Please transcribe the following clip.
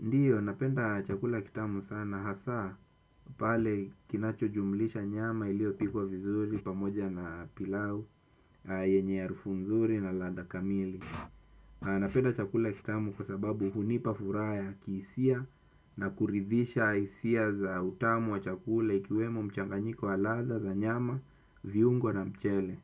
Ndiyo napenda chakula kitamu sana, hasa pale kinachojumlisha nyama iliopikwa vizuri pamoja na pilau yenye ya harufu nzuri na ladha kamili. Napenda chakula kitamu kwa sababu hunipa furaha ya kihisia na kuridhisha hisia za utamu wa chakula ikiwemo mchanganyiko wa ladha za nyama viungo na mchele.